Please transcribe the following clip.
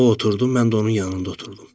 O oturdu, mən də onun yanında oturdum.